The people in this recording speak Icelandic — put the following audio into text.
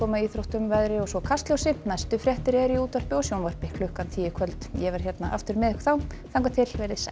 íþróttum veðri og svo Kastljósi næstu fréttir eru í útvarpi og sjónvarpi klukkan tíu í kvöld ég verð aftur með ykkur þá þangað til veriði sæl